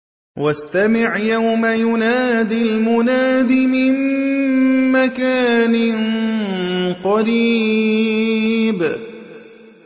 وَاسْتَمِعْ يَوْمَ يُنَادِ الْمُنَادِ مِن مَّكَانٍ قَرِيبٍ